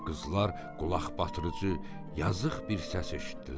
Qızlar qulaqbatırıçı, yazıq bir səs eşitdilər.